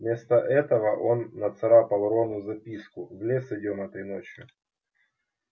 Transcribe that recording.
вместо этого он нацарапал рону записку в лес идём этой ночью